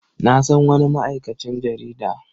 Na san wani ma'aikacin jarida.